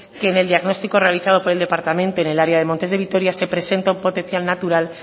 que en diagnóstico realizado por el departamento en el área de montes de vitoria se presenta un potencial natural